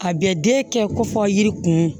A bɛ den kɛ ko fɔ yiri kun